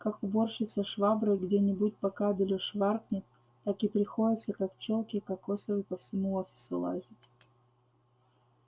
как уборщица шваброй где-нибудь по кабелю шваркнет так и приходится как пчёлке кокосовой по всему офису лазить